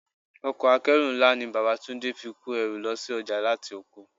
Ọkọ̀ akeru ńlá ni bàbá Túndé fi kó ẹrù lọ sí ọjà láti oko.